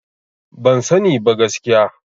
Ban sani ba gaskiya.